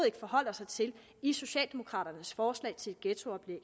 ikke forholder sig til i socialdemokraternes forslag til et ghettooplæg